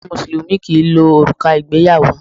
Àwọn Mùsùlùmí kì ń lo òrùka ìgbéyàwó.